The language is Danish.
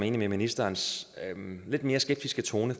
enig i ministerens lidt mere skeptiske tone